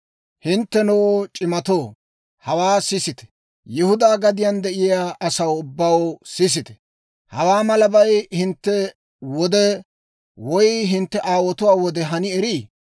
Hinttenoo c'imatoo, hawaa sisite! Yihudaa gadiyaan de'iyaa asaw ubbaw, sisite! Hawaa malabay hintte wode woy hintte aawotuwaa wode hani erii?